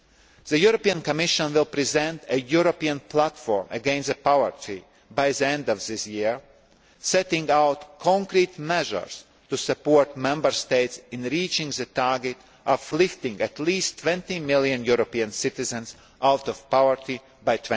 society. The European Commission will present a European Platform against Poverty by the end of this year, setting out concrete measures to support Member States in reaching the target of lifting at least 20 million European citizens out of poverty